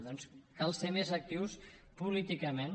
doncs cal ser més actius políticament